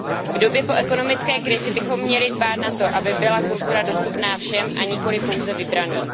V době po ekonomické krizi bychom měli dbát na to, aby byla kultura dostupná všem, a nikoli pouze vybraným.